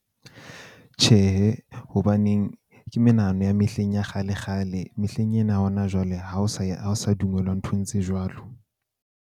Tjhehe, hobaneng ke menahano ya mehleng ya kgale kgale. Mehleng ena ya hona jwale, ha o sa ya ha o sa dumellwa nthong tse jwalo.